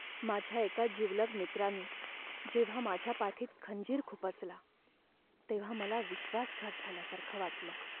माझ्या एका जिवलग मित्रानी जेव्हा माझ्या पाठीत खंजीर खुपसला तेव्हा मला विश्वासघात झाल्यासारखं वाटलं.